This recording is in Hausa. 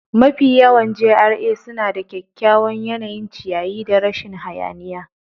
Mafiya yawan GRA suna da kyakkyawan yanayin ciyayi da rashin hayaniya.